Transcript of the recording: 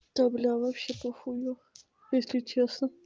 да бля вообще похую если честно